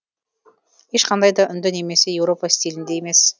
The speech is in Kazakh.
ешқандай да үнді немесе еуропа стилінде емес